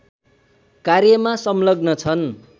कार्यमा संलग्न छन्